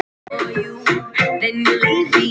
Var þetta ekki Stína?